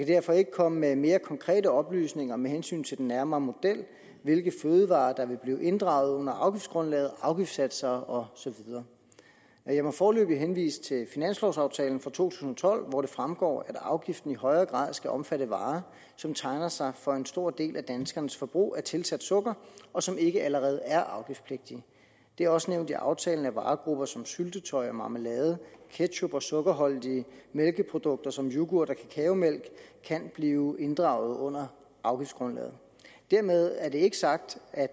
derfor ikke komme med mere konkrete oplysninger med hensyn til den nærmere model hvilke fødevarer der vil blive inddraget under afgiftsgrundlaget afgiftsatser og så videre jeg må foreløbig henvise til finanslovaftalen for to tusind og tolv hvor det fremgår at afgiften i højere grad skal omfatte varer som tegner sig for en stor del af danskernes forbrug af tilsat sukker og som ikke allerede er afgiftspligtige det er også nævnt i aftalen at varegrupper som syltetøj og marmelade ketchup og sukkerholdige mælkeprodukter som yoghurt og kakaomælk kan blive inddraget under afgiftsgrundlaget dermed er det ikke sagt at